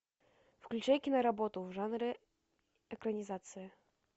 включай киноработу в жанре экранизация